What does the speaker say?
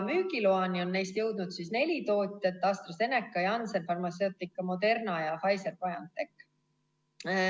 Müügiloani on neist jõudnud neli tootjat: AstraZeneca, Janssen Pharmaceutica, Moderna ja Pfizer-BioNTech.